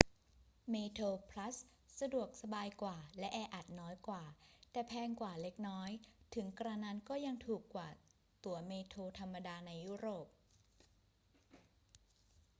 เมโทรพลัสสะดวกสบายกว่าและแออัดน้อยกว่า แต่แพงกว่าเล็กน้อย ถึงกระนั้นก็ยังถูกกว่าตั๋วเมโทรธรรมดาในยุโรป